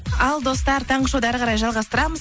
ал достар таңғы шоуды әрі қарай жалғастырамыз